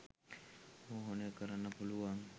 මෝහනය කරන්න පුළුවන්